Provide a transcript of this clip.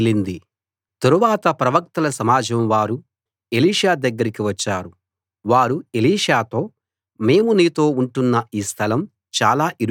తరువాత ప్రవక్తల సమాజం వారు ఎలీషా దగ్గరికి వచ్చారు వారు ఎలీషాతో మేము నీతో ఉంటున్న ఈ స్థలం చాలా ఇరుకుగా ఉంది